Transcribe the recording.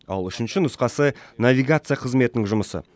ал үшінші нұсқасы навигация қызметінің жұмысы